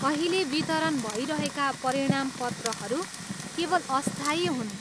अहिले वितरण भइरहेका परिणामपत्रहरू केवल अस्थायी हुन्।